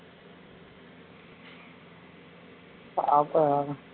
பாப்போம்